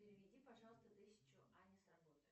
переведи пожалуйста тысячу ане с работы